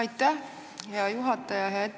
Aitäh, hea juhataja!